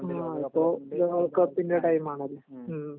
ആ ഇപ്പൊ ലോക കപ്പിന്റെ ടൈം ആണല്ലോ